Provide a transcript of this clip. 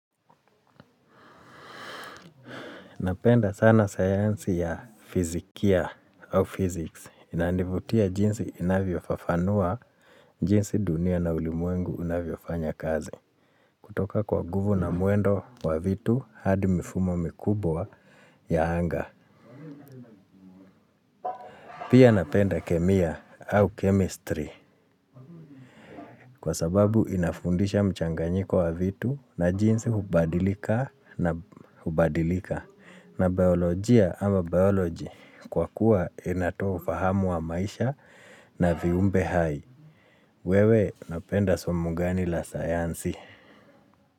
Napenda sana sayansi ya fizikia au physics. Inanivutia jinsi inavyofafanua, jinsi dunia na ulimwengu unavyofanya kazi. Kutoka kwa nguvu na mwendo wa vitu hadi mifumo mikubwa ya anga. Pia napenda kemia au chemistry kwa sababu inafundisha mchanganyiko wa vitu na jinsi hubadilika na hubadilika na biolojia ama biology kwa kuwa inatufahamu wa maisha na viumbe hai. Wewe napenda somo gani la sayansi.